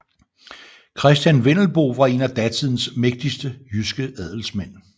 Christen Vendelbo var en af datidens mægtigste jyske adelsmænd